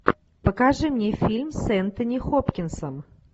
покажи мне фильм с энтони хопкинсом